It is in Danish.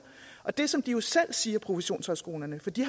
det som de jo selv siger på professionshøjskolerne for de